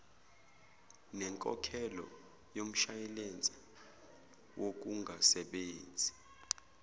nenkokhelo yomshwalense wokungasebenzi